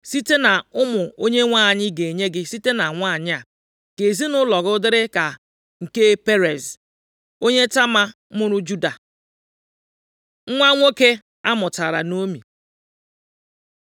Site nʼụmụ Onyenwe anyị ga-enye gị site na nwanyị a, ka ezinaụlọ gị dịrị ka nke Perez + 4:12 Perez bụ nna ochie Boaz. \+xt Mat 1:3; Luk 3:33\+xt* onye Tama mụụrụ Juda.” Nwa nwoke a mụtara Naomi